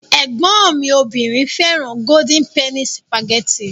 Ẹ̀gbọ́n mi obìnrin fẹ́ràn Golden penny sìpàgẹ́tì.